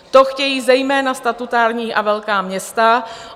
To chtějí zejména statutární a velká města.